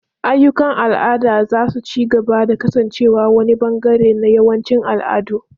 Ayyukan al'ada za su ci gaba da kasancewa wani ɓangare na yawancin al'adu.